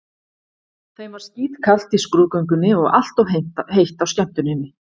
Þeim var skítkalt í skrúðgöngunni og allt of heitt á skemmtuninni.